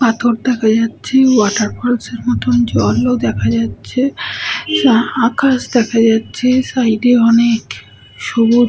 পাথর দেখা যাচ্ছে ওয়াটার পার্ক -এর মতোন জলও দেখা যাচ্ছে আ আকাশ দেখা যাচ্ছে সাইড -এ অনেক সবুজ--